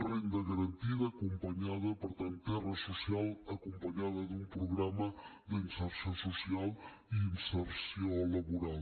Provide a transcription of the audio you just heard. renda garantida acompanyada per tant terra social acompanyada d’un programa d’inserció social i inserció laboral